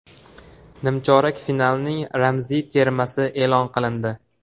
Nimchorak finalning ramziy termasi e’lon qilindi.